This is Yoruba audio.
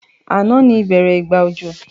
Ànán ni ìbẹ́rẹ́ ìgbà òjò